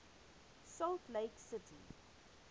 salt lake city